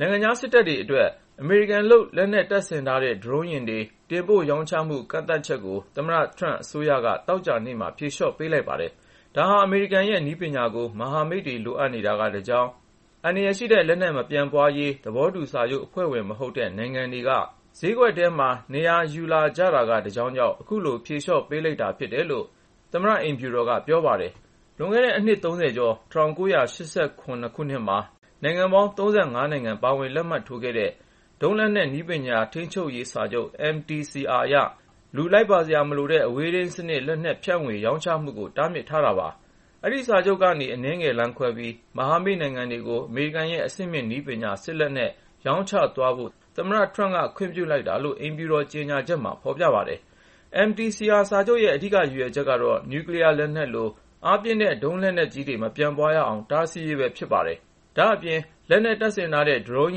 ိုင်ငံခြားစစ်တပ်တွေအတွက် အမေရိကန်လုပ် လက်နက်တပ်ဆင်ထားတဲ့ ဒရုန်းယာဉ်တွေ တင်ပို့ရောင်းချမှု ကန့်သတ်ချက်ကို သမ္မတ Trump အစိုးရက သောကြာနေ့မှာ ဖြေလျှော့ပေးလိုက်ပါတယ်။ ဒါဟာ အမေရိကန်ရဲ့ နည်းပညာကို မဟာမိတ်တွေ လိုအပ်နေတာက တကြောင်း၊ အန္တရာယ်ရှိလက်နက် မပြန့်ပွားရေး သဘောတူစာချုပ်အဖွဲ့ဝင် မဟုတ်တဲ့ နိုင်ငံတွေက ဈေးကွက်ထဲမှာ နေရာယူလာတာက တကြောင်းကြောင့် အခုလို ဖြေလျှော့ပေးလိုက်တာ ဖြစ်တယ်လို့ အိမ်ဖြူတော်က ပြောပါတယ်။ လွန်ခဲ့တဲ့ အနှစ် ၃၀ ကျော် ၁၉၈၇ ခုနှစ်မှာ နိုင်ငံပေါင်း ၃၅ နိုင်ငံ ပါဝင် လက်မှတ်ထိုးခဲ့တဲ့ ဒုံးလက်နက်နည်းပညာ ထိန်းချုပ်ရေးစာချုပ် (MTCR) အရ လူလိုက်ပါစရာမလိုတဲ့ အဝေးထိန်စနစ် လက်နက်ဖြန့်ဝေ ရောင်းချမှုကို တားမြစ်ထားတာပါ။ အဲဒီစာချုပ်ကနေ အနည်းငယ်လမ်းခွဲပြီး မဟာမိတ်နိုင်ငံတွေကို အမေရိကန်ရဲ့ အဆင့်မြင့်နည်းပညာ စစ်လက်နက်တွေ ရောင်းချသွားဖို့ သမ္မတ Trump က ခွင့်ပြုလိုက်တာလို့ အိမ်ဖြူတော် ကြေညာချက်မှာ ဖော်ပြပါတယ်။ MTCR စာချုပ်ရဲ့ အဓိက ရည်ရွယ်ချက်ကတော့ နျူကလီးယားလက်နက်လို အားပြင်းတဲ့ ဒုံးလက်နက်ကြီးတွေ မပြန့်ပွားရအောင် တားဆီးရေးပဲ ဖြစ်ပါတယ်။ ဒါ့အပြင် လက်နက်တပ်ဆင်ထားတဲ့ ဒရုန်း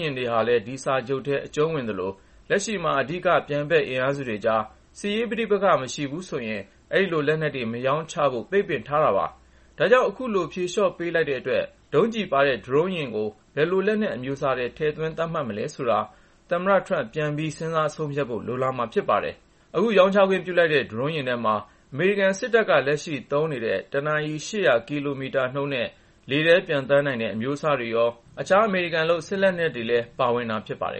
ယာဉ်တွေလည်း ဒီစာချုပ်ထဲ အကျုံးဝင်သလို လက်ရှိမှာ အဓိက ပြိုင်ဘက်အင်အားစုကြား စစ်ရေးပဋိပက္ခ မရှိဘူးဆိုရင် အဲဒီလို လက်နက်တွေ မရောင်းချဖို့ ပိတ်ပင်ထားတာပါ။ ဒါကြောင့် အခုလို ဖြေလျှော့ပေးလိုက်တဲ့အတွက် ဒုံးကျည်ပါတဲ့ ဒရုန်းယာဉ်တွေကို ဘယ်လိုလက်နက်အမျိုးအစားထဲ ထည့်သွင်း သတ်မှတ်မလဲဆိုတာ သမ္မထ Trump က ပြန်ပြီး စဉ်းစားဆုံးဖြတ်ဖို့ လိုလာမှာ ဖြစ်ပါတယ်။ အခု ရောင်းချခွင့်ပြုတဲ့ ဒရုန်းယာဉ်ထဲမှာ အမေရိကန်စစ်တပ်က လက်ရှိသုံးနေတဲ့ တနာရီ ၈၀၀ ကီလိုမီတာနှုန်းနဲ့ လေထဲပျံသန်းနိုင်တဲ့ အမျိုးအစားတွေရော၊ အခြား အမေရိကန်လုပ် စစ်လက်နက်တွေ ပါဝင်မှာ ဖြစ်ပါတယ်